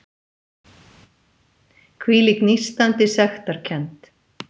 Hvílík nístandi sektarkennd!